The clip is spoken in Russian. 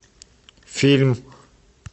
фильм